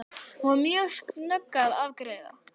Hún var mjög snögg að afgreiða.